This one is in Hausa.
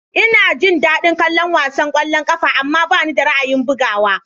Ina jin daɗin kallon wasan ƙwallon ƙafa, amma bani da ra'ayin bugawa.